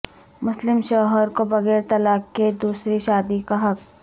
مسلم شوہر کوبغیر طلاق کے دوسری شادی کا حق